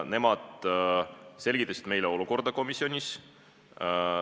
Nemad selgitasid meile komisjonis olukorda.